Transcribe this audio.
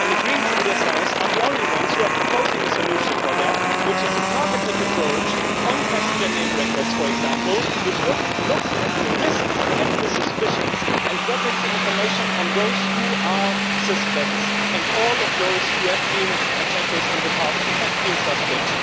The Greens in this House are the only ones who are proposing a solution to that, which is a targeted approach on passenger name records, for example, that looks at the risks and the suspicions and gathers information on those who are suspects and all of those who have been attackers in the past have been suspects.